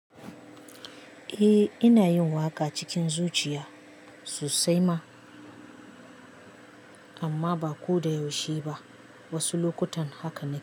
Eh, ina yin waƙa cikin zuciya sosai ma, amma ba ko da yaushe ba. Wasu lokutan haka ne.